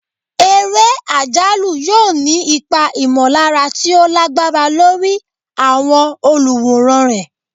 Eré àjálù yóò ní ipa ìmọ̀lára tí ó lágbára lórí àwọn olùwòran rẹ̀.